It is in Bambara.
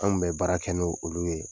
Anw kun bɛ baara kɛ n' o olu ye.